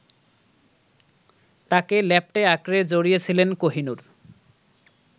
তাঁকে ল্যাপটে-আঁকড়ে জড়িয়েছিলেন কোহিনূর